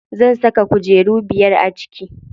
Zan saka kujeru biyar a ciki.